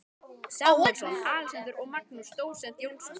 Samúelsson, Alexander og Magnús dósent Jónsson.